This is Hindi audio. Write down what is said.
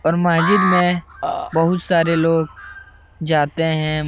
और महजिद में बोहुत सारे लोग जाते हैं।